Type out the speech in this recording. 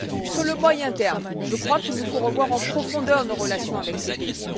Sur le moyen terme, je crois qu'il nous faut revoir en profondeur nos relations avec ces pays.